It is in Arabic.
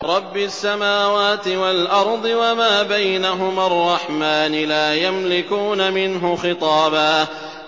رَّبِّ السَّمَاوَاتِ وَالْأَرْضِ وَمَا بَيْنَهُمَا الرَّحْمَٰنِ ۖ لَا يَمْلِكُونَ مِنْهُ خِطَابًا